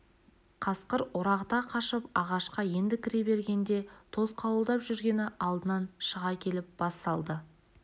қасқыр орағыта қашып ағашқа енді кіре бергенде тосқауылдап жүргені алдынан шыға келіп бас салды